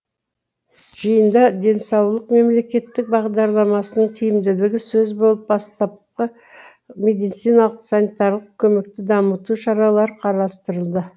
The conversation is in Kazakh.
жиында денсаулық мемлекеттік бағдарламасының тиімділігі сөз болып бастапқы медициналық санитарлық көмекті дамыту шаралары қарастырылды